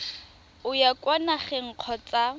o ya kwa nageng kgotsa